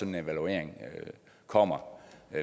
en evaluering kommer